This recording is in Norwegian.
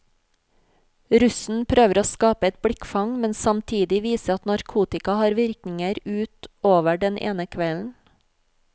Russen prøver å skape et blikkfang, men samtidig vise at narkotika har virkninger ut over den ene kvelden.